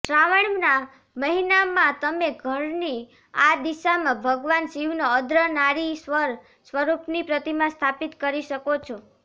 શ્રાવણના મહિનામાં તમે ઘરની આ દિશમાં ભગવાન શિવનો અર્દ્ઘનારીશ્વર સ્વરૂપની પ્રતિમા સ્થાપિત કરી શકો છે